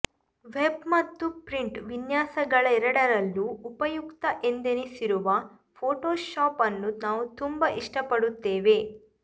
web ಮತ್ತು print ವಿನ್ಯಾಸಗಳೆರಡರಲ್ಲೂ ಉಪಯುಕ್ತ ಎಂದೆನಿಸಿರುವ ಫೋಟೋಶಾಪ್ ಅನ್ನು ನಾವು ತುಂಬಾ ಇಷ್ಟಪಡುತ್ತೇವೆ